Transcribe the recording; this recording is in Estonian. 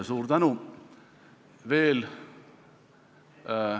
Suur tänu!